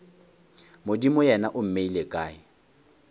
modimo yena o mmeile kae